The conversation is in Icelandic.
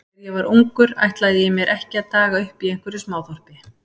Þegar ég var ungur ætlaði ég mér ekki að daga uppi í einhverju smáþorpi.